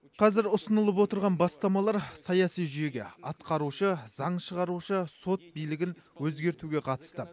қазір ұсынылып отырған бастамалар саяси жүйеге атқарушы заң шығарушы сот билігін өзгертуге қатысты